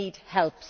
They need help.